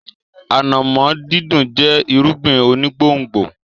Ànàmọ́ dídùn jẹ́ irúgbìn onígbòǹgbò.